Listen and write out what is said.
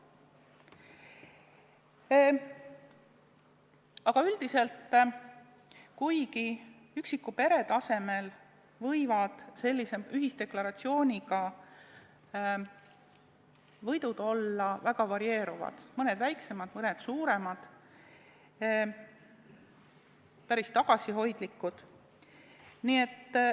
Aga üldiselt, üksiku pere tasemel võivad sellise ühisdeklaratsiooniga saadud võidud olla väga varieeruvad, mõned väiksemad, mõned suuremad, mõned päris tagasihoidlikud.